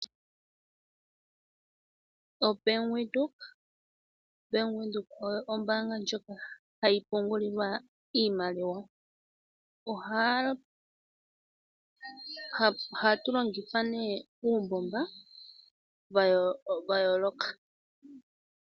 OBank Windhoek, Bank Windhoek oyo ombanga ndjoka hayi pungulilwa iimaliwa. Ohatu longitha nee uumbomba wayooloka.